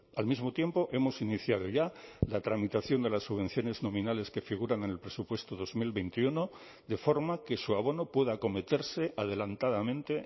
al mismo tiempo hemos iniciado ya la tramitación de las subvenciones nominales que figuran en el presupuesto dos mil veintiuno de forma que su abono pueda acometerse adelantadamente